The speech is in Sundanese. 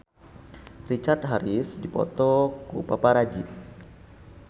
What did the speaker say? Richard Harris dipoto ku paparazi